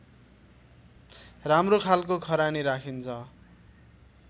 राम्रो खालको खरानी राखिन्छ